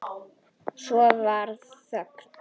Svo varð þögn.